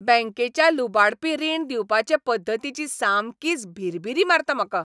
बॅंकेच्या लुबाडपी रिण दिवपाचे पद्दतींची सामकीच भिरभिरी मारता म्हाका.